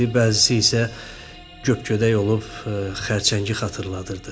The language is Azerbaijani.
Bəzisi isə göpgödək olub xərçəngi xatırladırdı.